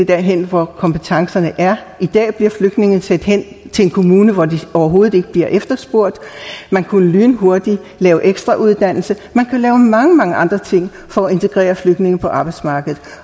derhen hvor kompetencerne er i dag bliver flygtningene sendt hen til en kommune hvor de overhovedet ikke bliver efterspurgt man kunne jo lynhurtigt lave ekstrauddannelse og lave mange mange andre ting for at integrere flygtninge på arbejdsmarkedet